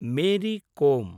Mary com